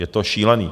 Je to šílené.